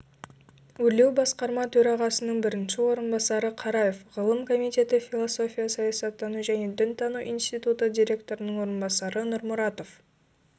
өрлеубасқарма төрағасының бірінші орынбасары қараев ғылым комитеті философия саясаттану және дінтану институты директоры-ның орынбасары нұрмұратов